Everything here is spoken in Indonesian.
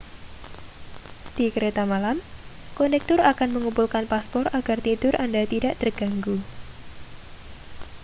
di kereta malam kondektur akan mengumpulkan paspor agar tidur anda tidak terganggu